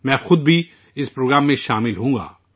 میں خود بھی اس پروگرام میں شامل رہوں گا